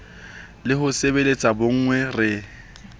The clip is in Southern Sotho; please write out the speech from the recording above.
le ho sebeletsa bonngwe re